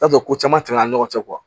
I t'a dɔn ko caman tɛmɛna an ni ɲɔgɔn cɛ